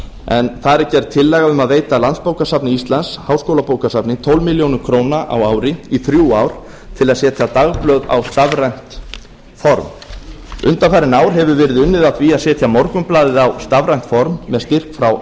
en þar er gerð tillaga um að veita landsbókasafni íslands háskólabókasafni tólf milljónir króna á ári í þrjú ár til að setja dagblöð á stafrænt form undanfarin ár hefur verið unnið að því að setja morgunblaðið á stafrænt form með styrk frá